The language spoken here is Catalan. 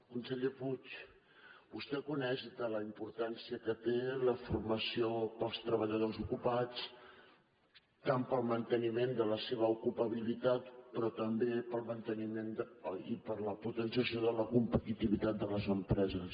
conseller puig vostè coneix tota la importància que té la formació per als treballadors ocupats tant per al manteniment de la seva ocupabilitat però també per a la potenciació de la competitivitat de les empreses